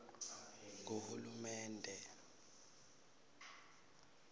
nguhulumende